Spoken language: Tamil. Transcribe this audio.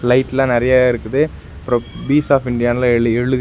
லைட்லா நெறைய இருக்குது அப்றோ பீஸ் ஆப் இந்தியாலா எழு எழுதிருக்--